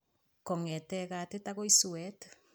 Kongete katit akoi suet